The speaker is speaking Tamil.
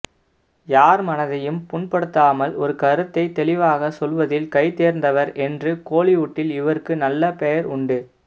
யார் மனதையும் புண்படுத்தாமல் ஒரு கருத்தை தெளிவாக சொல்வதில் கைதேர்ந்தவர் என்று கோலிவுட்டில் இவருக்கு நல்ல பெயர் உண்டு